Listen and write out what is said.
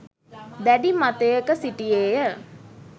දැඩි මතයක සිටියේය.